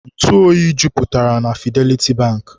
Ntụ oyi jupụtara na Fideliti Bankị.